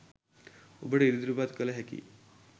ඔබට ඉදිරිපත් කළ හැකි